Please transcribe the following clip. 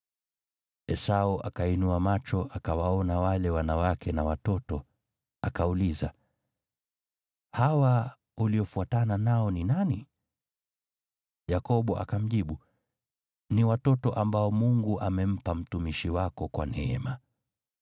Esau akainua macho akawaona wale wanawake na watoto. Akauliza, “Hawa uliofuatana nao ni nani?” Yakobo akamjibu, “Ni watoto ambao Mungu amempa mtumishi wako kwa neema.”